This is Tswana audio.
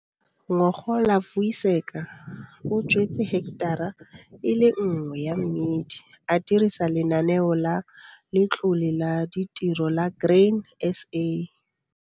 Ngogola Vuyiseka o jwetse heketara e le nngwe ya mmidi a dirisa Lenaneo la Letlole la Ditiro la Grain SA.